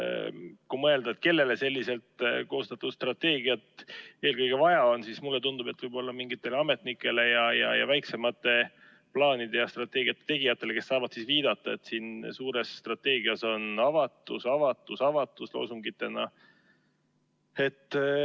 Kui mõelda, kellele selliselt koostatud strateegiat eelkõige vaja on, siis mulle tundub, et võib-olla mingitele ametnikele ja väiksemate plaanide ja strateegiate tegijatele, kes saavad siis viidata, et siin suures strateegias on loosungina "Avatus, avatus, avatus".